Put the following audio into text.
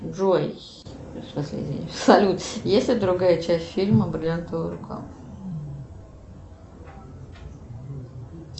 джой салют есть ли другая часть фильма бриллиантовая рука